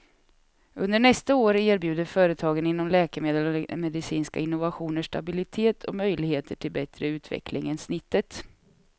Under nästa år erbjuder företagen inom läkemedel och medicinska innovationer stabilitet och möjligheter till bättre utveckling än snittet.